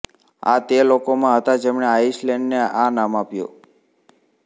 આ તે લોકોમાં હતાં જેમણે આઇસલેંડ ને આ નામ આપ્યું